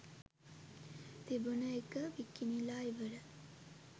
තිබුන එක විකිනිලා ඉවරයි.